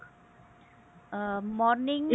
morning